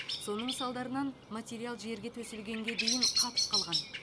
соның салдарынан материал жерге төселгенге дейін қатып қалған